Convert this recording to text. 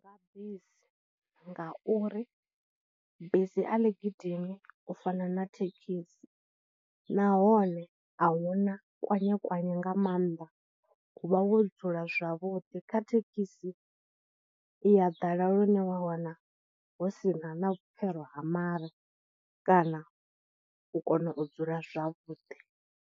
Nga bisi ngauri bisi a ḽi gidimi u fana na thekhisi, nahone ahuna kwanye kwanye nga maanḓa uvha hu wo dzula zwavhuḓi, kha thekhisi i ya ḓala lune wa wana hu sina na vhupfhelo ha mare, kana u kona u dzula zwavhuḓi.